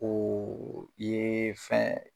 O ye fɛn